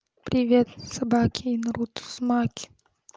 привет собаки я наруто узумаки